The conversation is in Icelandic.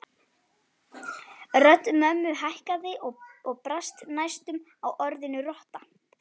Þorfinna, hversu margir dagar fram að næsta fríi?